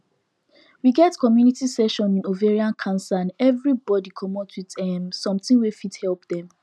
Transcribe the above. we get community session in ovarian cancer and everybody commot with um something wey fit help dem